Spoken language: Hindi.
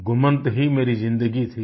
घुमंत ही मेरी जिंदगी थी